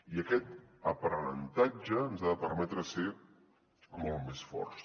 i aquest aprenentatge ens ha de permetre ser molt més forts